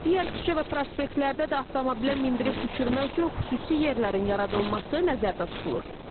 Digər küçə və prospektlərdə də avtomobilə mindirib düşürmək üçün xüsusi yerlərin yaradılması nəzərdə tutulur.